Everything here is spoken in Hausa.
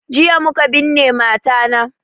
Jiya muka binne mata na